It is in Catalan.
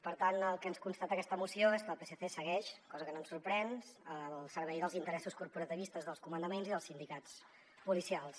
per tant el que ens constata aquesta moció és que el psc segueix cosa que no ens sorprèn al servei dels interessos corporativistes dels comandaments i dels sindicats policials